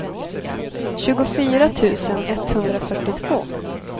tjugofyra tusen etthundrafyrtiotvå